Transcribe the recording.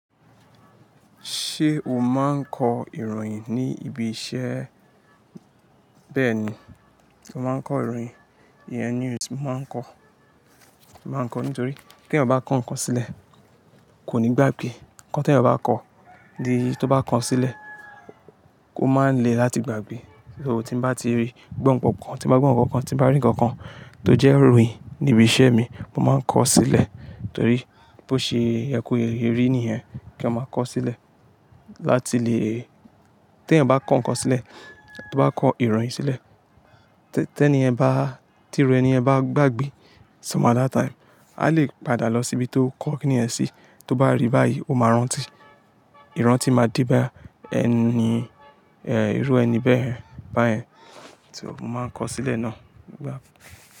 Ṣé o máa ń kọ ìròyìn ní ibi iṣẹ́? Bẹ́ẹ̀ni, mo máa ń kọ ìròyìn. EN News mo máa ń kọ. Mo máa ń kọ nítorí kí ẹ̀yan ba kọ ǹkan sílẹ̀ kò ní gbàgbé. Ǹkan tí ẹ̀yin ba kọ, di tó bá ko sílẹ̀, kó má lè láti gbàgbé. So tí mo bá ti rí, gbọ́ ǹkan kan, tí mo bá gbọ́ ǹkan kan, tí bá rí ǹkan kan tó jẹ́ ìròyìn ní ibi iṣẹ́ mi, mo máa ń kọ sílẹ̀. Torí bí ó ṣe yẹ kó rí ní yẹn kí a máa kọ sílẹ̀. Láti lè-- tí ẹ̀yan ba kọ ǹkan sílẹ̀, tó bá kọ ìròyìn sílẹ̀, tí ẹni yen bá, tí ìru ẹni yen bá gbàgbé some other time, a lè padà lọ síbi tó kọ ki níyẹn sí. Tó bá rí báyìí, o máa rántí. Ìrántí máa de bá ẹni, ẹ́, irú ẹni bẹ́ẹ̀ báyẹn. So mo máa ń kọ sílẹ̀ náà.